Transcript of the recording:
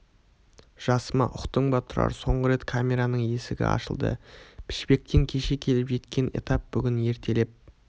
жасыма ұқтың ба тұрар соңғы рет камераның есігі ашылды пішпектен кеше келіп жеткен этап бүгін ертелеп